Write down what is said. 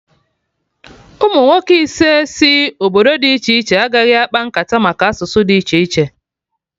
Umunwoke ise si obodo dị iche iche agaghị akpa nkata maka asụsụ dị iche iche